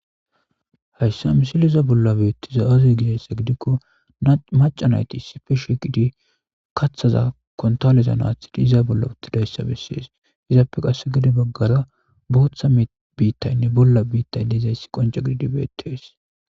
hayssa misiliza bolla biittiza azuy gidayssa gidikko maca nayti issife shiqidi kathaza kontaleza naathidi iza bolla uttidayssa bessees hizaappe qase gede baggara booththa biittaynne bolla biittay deizayssi qonca gididi beettees